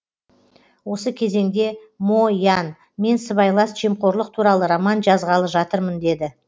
осы кезеңде мо ян мен сыбайлас жемқорлық туралы роман жазғалы жатырмын деді